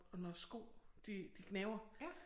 Når sko de de gnaver